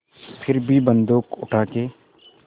फिर भी बन्दूक उठाके